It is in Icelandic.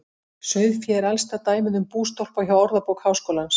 Sauðfé er elsta dæmið um bústólpa hjá Orðabók Háskólans.